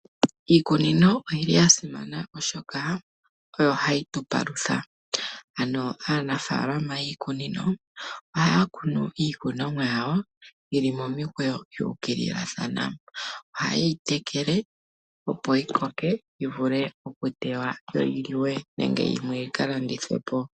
Iikunino oyili yasimana , oshoka oyo hayi tupalutha. Aanafaalama yiikunino ohaya kunu iikunomwa yawo yili momikweyo yuukililathana. Ohaye yi tekele opo yikokeke, yivule okutewa, yo yiliwe nenge yimwe yikalandithwe po.